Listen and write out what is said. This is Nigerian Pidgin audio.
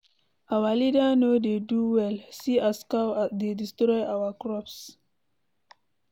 Our leader no dey do well, see as cow dey destroy our crops.